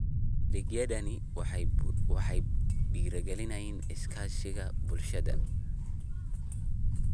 Adeegyadani waxay dhiirigeliyaan iskaashiga bulshada.